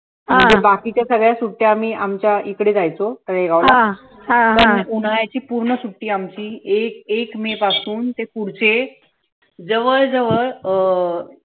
आणि बाकीच्या सगळ्या सुट्ट्या आम्ही आमच्या इकडे जायचो तळेगाव ला उन्हाळ्याची पूर्ण सुट्टी आमची एक एक मे पासून ते पुढचे जवळ जवळ अं